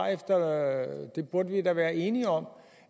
det burde vi da være enige om